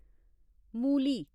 मूली